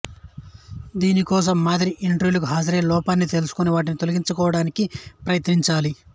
దీనికోసం మాదిరి ఇంటర్వూలకి హాజరై లోపాలని తెలుసుకొని వాటిని తొలగించుకోటానికి ప్రయత్నించాలి